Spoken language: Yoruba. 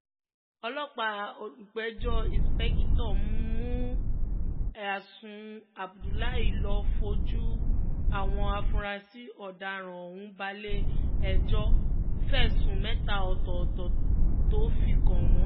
ọlọ́pàá olùpẹ̀jọ́ ìǹṣìpẹ̀kìtọ́ mua àṣù abdullah ló fojú àwọn afurasí ọ̀daràn ọ̀hún balẹ̀-ẹjọ́ fẹ̀sùn mẹ́ta ọ̀tọ̀ọ̀tọ̀ tó fi kàn wọ́n